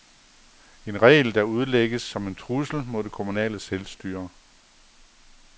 En regel, der udlægges som en trussel mod det kommunale selvstyre.